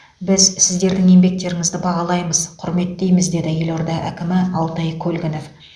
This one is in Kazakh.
біз сіздердің еңбектеріңізді бағалаймыз құрметтейміз деді елорда әкімі алтай көлгінов